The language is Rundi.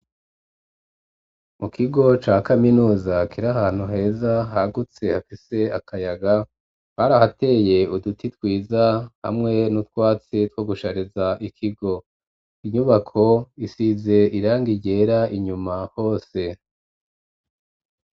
Mu kigo ca kaminuza kiri ahantu heza hagutse hafise akayaga barahateye uduti twiza hamwe n'utwatsi two gushareza ikigo inyubako isize irangi ryera inyuma hose.